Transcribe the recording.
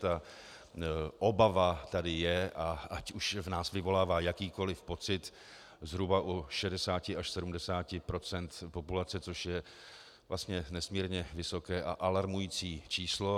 Ta obava tady je, a ať už v nás vyvolává jakýkoliv pocit, zhruba u 60 až 70 % populace, což je vlastně nesmírně vysoké a alarmující číslo.